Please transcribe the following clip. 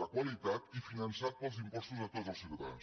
de qualitat i finançat pels impostos de tots els ciutadans